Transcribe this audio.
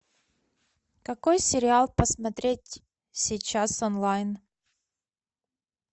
какой сериал посмотреть сейчас онлайн